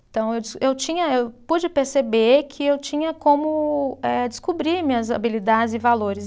Então eu, eu tinha, eu pude perceber que eu tinha como eh descobrir minhas habilidades e valores.